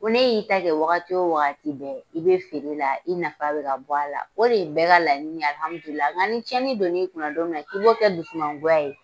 Ko ne y'i ta kɛ wagati o wagati bɛɛ, i bɛ feere la, i nafa bɛ ka bɔ a la. O de ye bɛɛ ka laɲini ye alihamidula, nga ni tiɲɛni donn'i kun na don min na , k'i b'o kɛ dusu mangoya ye